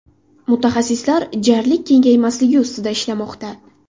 Mutaxassislar jarlik kengaymasligi ustida ishlamoqda.